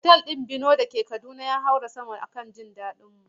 Otal din Vino dake Kaduna ya haura sama domin jin daɗin mu.